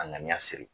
A ŋaniya siri